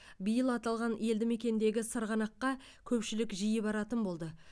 биыл аталған елдімекендегі сырғанаққа көпшілік жиі баратын болды